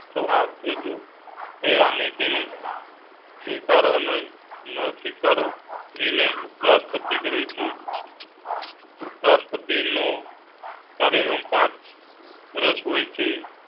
તો આ રાજુ થાયી અને તેની સ્વિકારો ના સ્વીકારો નિર્ણય ઉપરાષ્ટ્રપતિ કરેં છે. ઉપરાષ્ટ્રપતિ નો કાર્યક્રમ પાંચ વર્ષ હોઈ છે